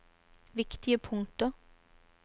viktige punkter